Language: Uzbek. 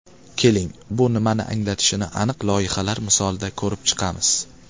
Keling, bu nimani anglatishini aniq loyihalar misolida ko‘rib chiqamiz.